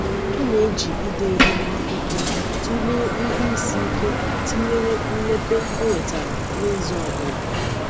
Ọ na-eji ide ihe n’akwụkwọ tụlee ihe isi ike tinyere mmepe ọ nwetara n’izu ọ bụla.